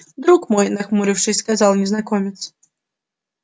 друг мой нахмурившись сказал незнакомец